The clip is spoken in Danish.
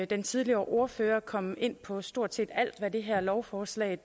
den tidligere ordfører kom ind på stort set alt hvad det her lovforslag